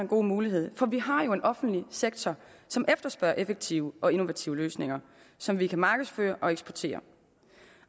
god mulighed for vi har jo en offentlig sektor som efterspørger effektive og innovative løsninger som vi kan markedsføre og eksportere